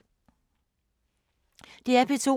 DR P2